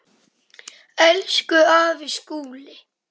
Elsku afi Skúli.